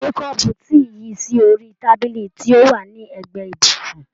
Gbé kọ́ọ̀bù tíì yìí sí orí tábìlì tí ó wà ní ègbé ibùsùn.